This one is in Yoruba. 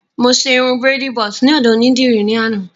Mo ṣe irun bírèèdì bọ́ọ̀sì ní ọ̀dọ̀ onídìrí ní àná